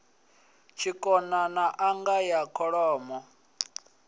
tshikona n anga ya kholomo